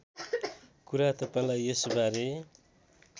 कुरा तपाईँलाई यसबारे